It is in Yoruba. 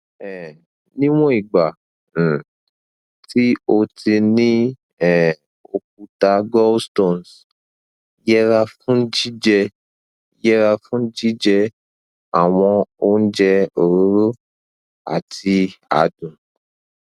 um níwọn ìgbà um tí o ti ní um òkúta gallstones yẹra fún jíjẹ yẹra fún jíjẹ àwọn oúnjẹ òróró àti adùn